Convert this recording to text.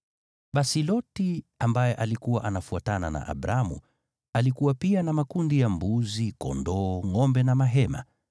Basi Loti, ambaye alikuwa anafuatana na Abramu, alikuwa pia na makundi ya mbuzi, kondoo, ngʼombe na mahema.